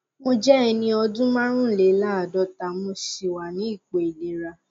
mo jẹ ẹni ọdún márùnléláàádọta mo sì wà ní ipò ìlera